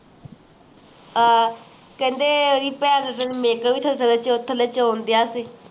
ਹਾਂ ਕਹਿੰਦੇ ਮੇਰੀ ਭੈਣ ਨੂੰ